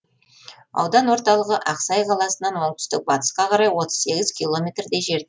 аудан орталығы ақсай қаласынан оңтүстік батысқа қарай отыз сегіз километрдей жер